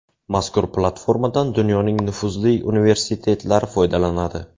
Mazkur platformadan dunyoning nufuzli universitetlari foydalanadi.